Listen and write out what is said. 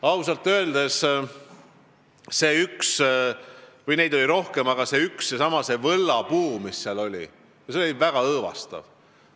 Ausalt öeldes seesama seal olnud võllapuu oli väga õõvastav.